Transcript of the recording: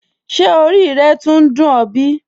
Ṣé ọ̀rí rẹ́ túńń dùn ọ̀ bí?